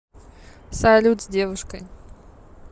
салют с девушкой